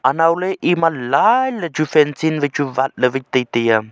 anaule ema line le chu fencing wai chu wat le wai tai taiya.